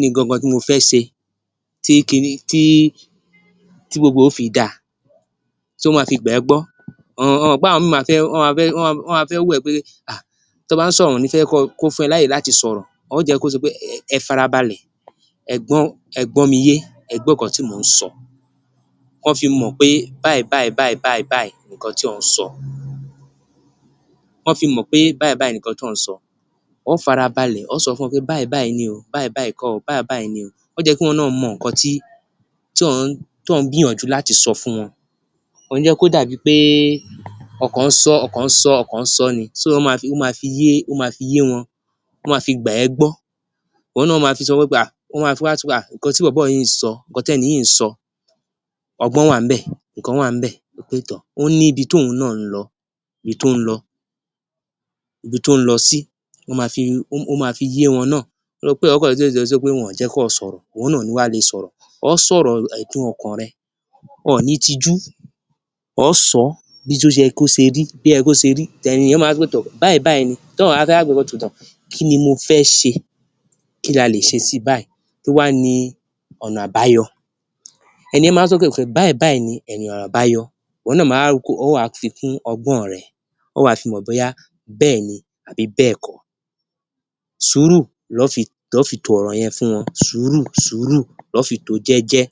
ni gan-an gan-an mo fẹ́ ṣe tí gbogbo rẹ̀ yóò fi da? Tó máa fi gbà ẹ gbó, sọ mọ̀ pé àwọn míì wọn máa fẹ́ wò ẹ́ pé ahh tó bá sọ̀rọ̀ wọn ò ní fẹ́ kó fún ẹ láyè láti sọ̀rọ̀, óò jẹ́ kó ṣe pé ẹ fara balẹ̀, ẹ gbọ́ mi yé, ẹ gbọ́ nǹkan tí mo ó ń sọ, kò fi mọ̀ pé báyìí báyìí báyìí báyìí ni nǹkan tí ó ń sọ,o fi mọ̀ pé báyìí báyìí ni ńkọ́ tí ó ń sọ. Ó o fara balẹ̀ sọ fún wọn pé báyìí báyìí ni o, báyìí báyìí kọ́ o, báyìí báyìí ni o, ó yẹ kí ohun náà mọ nǹkan tí ó ń gbìyànjú láti sọ fún wọn. Ò ó jẹ́ kìí ó dàbí pé ó kó ń sọ, ó kó ń sọ ní so ó máa fi yé wọn,ó máa fi gbà ẹ gbó. Òun na máa fi wá sọ pé ahh…. Nǹkan tí bọ̀bọ́ yìí ń sọ, nǹkan tẹ́nì yìí ń sọ, ọgbọ́n wá ńbe, nǹkan wà ń bẹ, wí pé tóór….. ó ní ibi tí òun náà ń lọ, ibi tó ń lọ sí, ó máa fi yẹ wọn náà, kì í ṣe pé ó kàn ní pé wọn ò jẹ́ ó sọ̀rọ̀, ìwọ náà o wá ní lè sọ̀rọ̀, ó sọ̀rọ̀ ẹ̀dùn ọkàn rẹ, ọ ó ní tijú, óò sọ ní bó ṣe yẹ kó rí, báyìí báyìí ni, kí ni mo fẹ́ ṣe, kí la lè ṣe sii báyìí? Kí wá ni ọ̀nà àbáyọ, ẹni yẹn a wá sọ pé báyìí báyìí ni ọ̀nà àbáyọ, ìwọ náà o wá fikùn ọgbọ́n rẹ̀, óò wá fi mọ̀ bóyá bẹẹni àbí bẹẹko. Sùúrù lọ fi to ọ̀rọ̀ yẹn fún wọn. Sùúrù! Sùúrù! Lọ fi tó ò jẹjẹ.